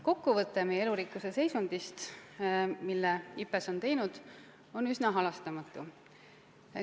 Kokkuvõte meie elurikkuse seisundist, mille IPBES on teinud, on üsna halastamatu.